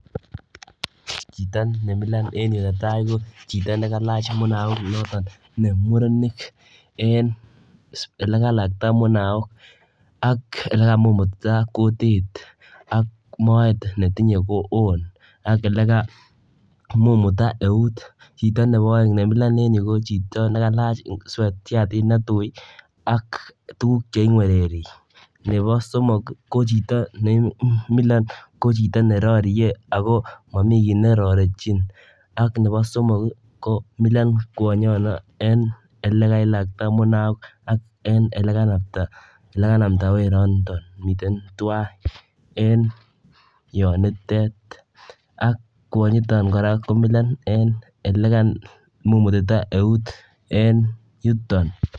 Chiton nemilon eng yu botai kochito nekelach munaok notok ne murenik en ole kelakta munaok ak ole kamumututa kutit ak moet netinye koon ako ole kamumututa eut chito nebo aeng nemila en yu kochito nekelach shatit netui ak tuguk cheingwereri nebo somok kochito nemilon ko chito ne roriei ako mamii kiy ne rorechin ak nebo somok komilo kwonyono en ole kelakta munaok ak ole kanamda weron mitei tuwai en yon itet ak kwonyiton kora komilon en ole kamumutita eut en yuton.